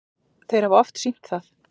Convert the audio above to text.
Þeir hafa oft sýnt það.